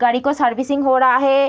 गाड़ी को सर्विसिंग हो रहा है।